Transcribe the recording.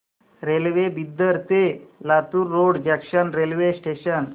railway Bidar ते Latur road junction railway station